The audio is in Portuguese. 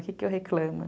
O que eu reclamo?